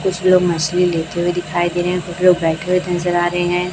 कुछ लोग मछली लेते हुए दिखाई दे रहे हैं कुछ लोग बैठे हुए नजर आ रहे हैं।